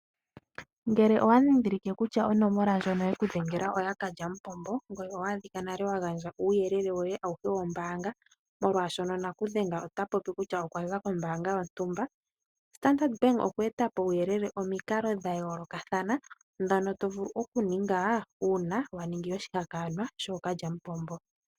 Ngele owa dhidhilike kutya onomola ndjono yeku dhengela oya kalyamumbopo ngoye owa adhika nale wa gandja nale uuyelele woye awuhe wombaanga molwaashono naku dhenge ota popi kutya okwa za kombaanga yontumba, Standard bank okwe etapo omikalo dha yoolokathana dhono to vulu oku ninga uuna wa ningi oshihakanwa shookalyamupombo.